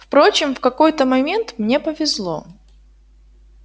впрочем в какой-то момент мне повезло